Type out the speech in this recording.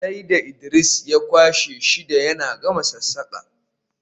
sai da Idris ya kwashe wata shida yana gama sassaƙa